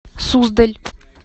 суздаль